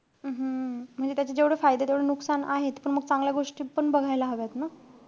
हम्म म्हणजे त्याचे जेवढे फायदेय तेवढे नुकसान आहेत. पण मग चांगल्या गोष्टी पण बघायला हव्यात ना.